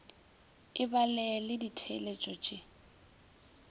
e ba le ditheeletšo le